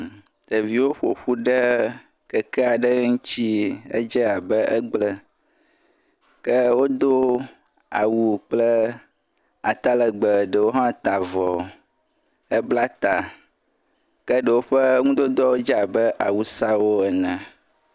Ɖeviwo ƒo ƒu ɖe keke aɖe ŋuti, edze abe egblẽ, ke wodo awu kple atalegbe, ɖewo hã ta avɔ, hebla ta, ke ɖewo ƒe nudodoawo dze abe awusawo ene.